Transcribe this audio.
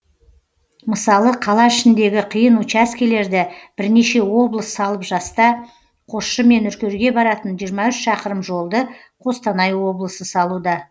мысалы қала ішіндегі қиын учаскелерді бірнеше облыс салып жаста қосшы мен үркерге баратын жиырма үш шақырым жолды қостанай облысы салуда